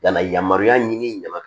Nana yamaruya ɲini ɲama